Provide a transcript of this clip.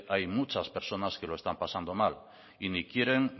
hay muchas personas que lo están pasando mal y ni quieren